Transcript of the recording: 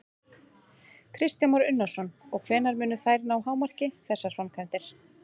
Kristján Már Unnarsson: Og hvenær munu þær ná hámarki, þessar framkvæmdir?